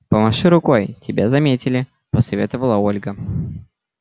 помаши рукой тебя заметили посоветовала ольга